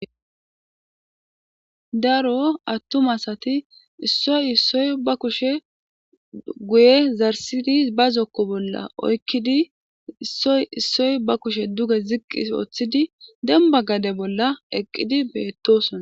daro attum asati issoy issoy ba kushe guye zarsidi ba zokko bolla oykkidi issoy issoy ba kushe duge ziqqi ooththidi demba gade bolla eqqidi beettosona